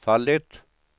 fallit